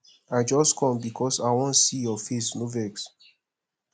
i just com because i wan see your face no vex